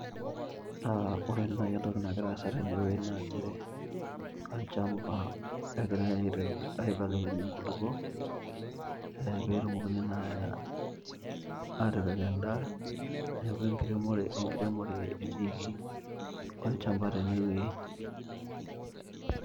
Aa ore nai entoki nagira aasa tene wueji nas nchere naa olchamba egirae aibelekeny inkulukuok petumokini naa atipik en'daa . niaku enkiremore etiiki olchamba tene wueji .